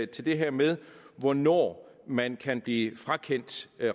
det her med hvornår man kan blive frakendt